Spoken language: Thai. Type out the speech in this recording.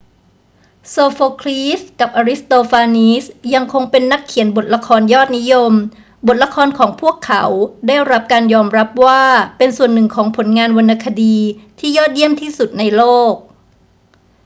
โซโฟคลีสกับอริสโตฟานีสยังคงเป็นนักเขียนบทละครยอดนิยม บทละครของพวกเขาได้รับการยอมรับว่าเป็นส่วนหนึ่งของผลงานวรรณคดีที่ยอดเยี่ยมที่สุดในโลก